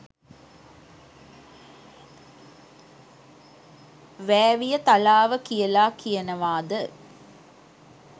වෑවියතලාව කියලා කියනවාද